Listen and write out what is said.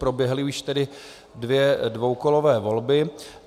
Proběhly už tedy dvě dvoukolové volby.